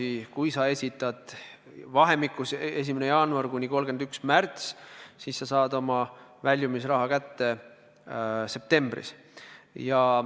Ja kui sa esitad selle avalduse vahemikus 1. jaanuar kuni 31. märts, siis sa saad oma väljumisraha kätte septembris.